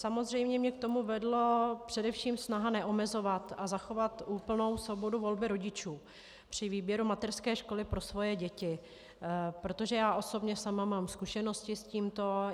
Samozřejmě mě k tomu vedla především snaha neomezovat a zachovat úplnou svobodu volby rodičů při výběru mateřské školy pro svoje děti, protože já osobně sama mám zkušenosti s tímto.